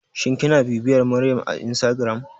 Shin kina bibiyar Maryama a instagram?